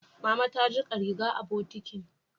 Mama ta jika riga a bokitin